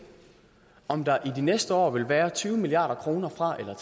om der i de næste år vil være tyve milliard kroner fra eller